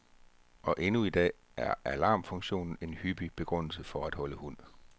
Og endnu i dag er alarmfunktionen en hyppig begrundelse for at holde hund.